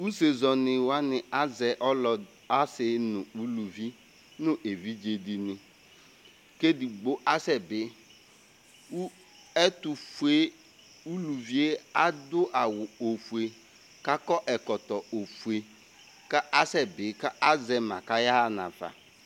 use zɛni wani azɛ ɔloɛdi ase no uluvi no evidze di ni k'edigbo asɛ bi kò ɛtofue uluvie ado awu ofue k'akɔ ɛkɔtɔ ofue k'asɛ bi k'azɛ ma k'aya ɣa nafa